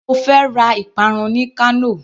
Mo fẹ́ ra ìparun ní Kano.